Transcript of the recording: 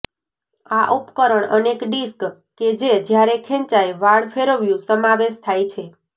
આ ઉપકરણ અનેક ડિસ્ક કે જે જ્યારે ખેંચાય વાળ ફેરવ્યું સમાવેશ થાય છે